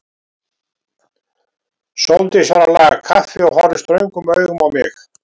Sóldís var að laga kaffi og horfði ströngum augum á mig.